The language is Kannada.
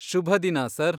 ಶುಭದಿನ, ಸರ್!